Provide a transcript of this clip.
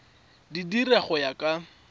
di dira go ya ka